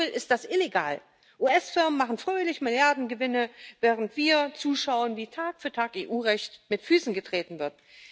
Wenn man so will, ist das illegal. US Firmen machen fröhlich Milliardengewinne, während wir zuschauen, wie Tag für Tag EU Recht mit Füßen getreten wird.